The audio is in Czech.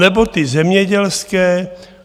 Anebo ty zemědělské?